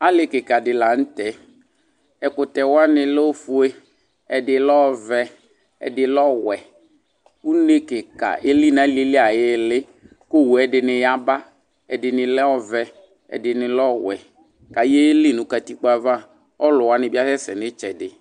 Ali kikaɖi la nu tɛ Ɛkutɛ wani lɛ ofoe, ɛɗi lɛ ɔvɛ, ɛɗi lɛ ɔwɛ Une kika eli nu aliɛli ayili Ku owu ɗini ya ba, ɛɗini lɛ ɔvɛ, ɛɗini lɛ ɔwɛ, ka yeli nu katikpoe ava Ɔluwani bi asɛsɛ nitsɛɗi